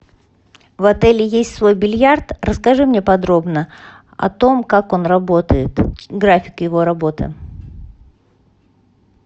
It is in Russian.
в отеле есть свой бильярд расскажи мне подробно о том как он работает график его работы